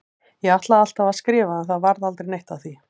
Ég ætlaði alltaf að skrifa en það varð aldrei neitt af því.